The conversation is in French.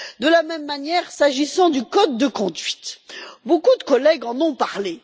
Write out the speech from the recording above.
De la même manière, s'agissant du code de conduite, beaucoup de collègues en ont parlé.